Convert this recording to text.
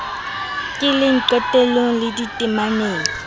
keleng qetelong le dite maneng